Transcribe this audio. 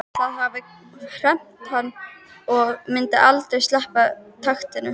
Það hafði hremmt hann og myndi aldrei sleppa takinu.